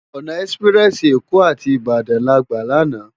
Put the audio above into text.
Òná èsipirèsi Ékó áti Ibadan lágbá làná